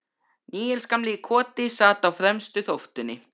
Níels gamli í Koti sat á fremstu þóftunni.